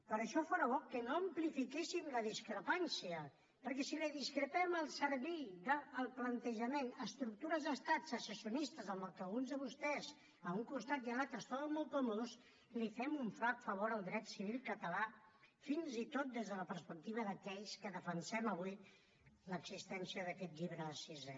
per això fóra bo que no amplifiquéssim la discrepància perquè si discrepem al servei del plantejament d’estructures d’estat secessionistes en què alguns de vostès a un costat i a l’altre es troben molt còmodes fem un flac favor al dret civil català fins i tot des de la perspectiva d’aquells que defensem avui l’existència d’aquest llibre sisè